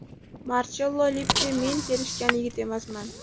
Marchello Lippi Men kelishgan yigit emasman.